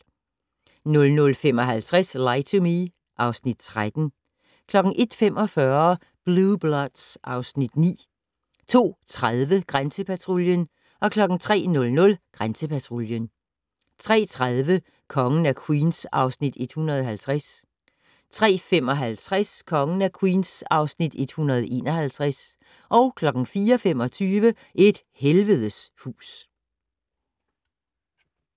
00:55: Lie to Me (Afs. 13) 01:45: Blue Bloods (Afs. 9) 02:30: Grænsepatruljen 03:00: Grænsepatruljen 03:30: Kongen af Queens (Afs. 150) 03:55: Kongen af Queens (Afs. 151) 04:25: Et helvedes hus